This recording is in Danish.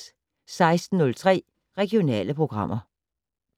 16:03: Regionale programmer